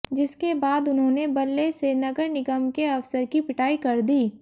जिसके बाद उन्होंने बल्ले से नगर निगम के अफसर की पिटाई कर दी